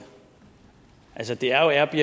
altså det er